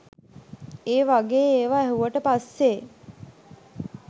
ඒ වගේ ඒවා ඇහුවට පස්සේ